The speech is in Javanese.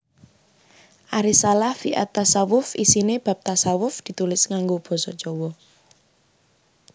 Al Risalah fi at Tasawwuf isiné bab tashawuf ditulis nganggo basa Jawa